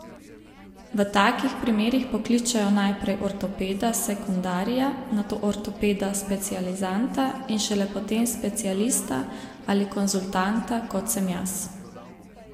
V takih primerih pokličejo najprej ortopeda sekundarija, nato ortopeda specializanta in šele potem specialista ali konzultanta, kot sem jaz.